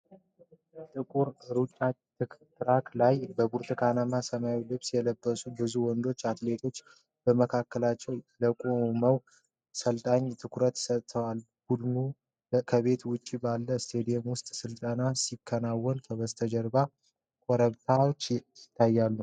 ጥቁር ሩጫ ትራክ ላይ፣ በብርቱካንና ሰማያዊ ልብስ የለበሱ ብዙ ወንዶች አትሌቶች በመካከላቸው ለቆመው አሰልጣኝ ትኩረት ሰጥተዋል። ቡድኑ ከቤት ውጭ ባለው ስታዲየም ውስጥ ስልጠና ሲያከናውን፣ ከበስተጀርባ ኮረብታዎች ይታያሉ።